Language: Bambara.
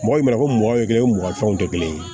Mɔgɔ mana ko mɔgɔ kelen mugan fɛnw tɛ kelen ye